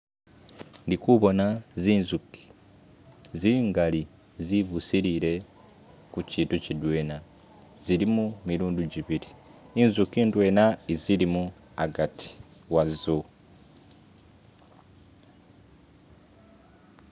Ndi kubona zinzuki zingaali zibusilile kiitu kidwena, zili mu milundi jibili , inzugi indwena isilimo agati wazo.